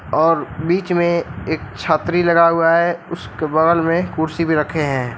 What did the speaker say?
और बीच में एक छतरी लगा हुआ है उसके बगल में कुर्सी भी रखे हैं।